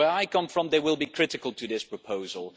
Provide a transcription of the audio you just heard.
Where I come from, they will be critical of this proposal.